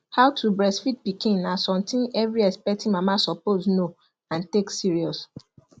how to breastfeed pikin na something every expecting mama suppose know and take serious